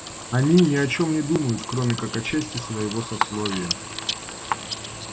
они ни о чём не думают кроме как о чести своего сословия